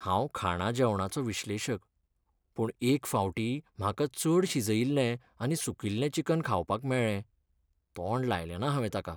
हांव खाणा जेवणाचो विश्लेशक, पूण एक फावटीं म्हाका चड शिजयिल्लें आनी सुकिल्लें चिकन खावपाक मेळ्ळें, तोंड लायलेना हांवें ताका.